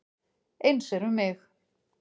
Eins er um mig.